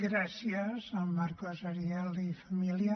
gràcies al marcos ariel i família